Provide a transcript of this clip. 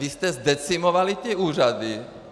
Vy jste zdecimovali ty úřady.